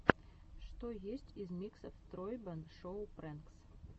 что есть из миксов тройбэн шоу прэнкс